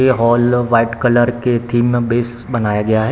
ये हाल white colour के थीम बेस बनाया गया है।